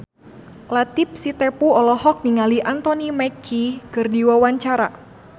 Latief Sitepu olohok ningali Anthony Mackie keur diwawancara